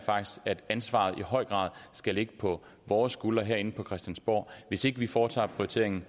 at ansvaret i høj grad skal ligge på vores skuldre herinde på christiansborg hvis ikke vi foretager prioriteringen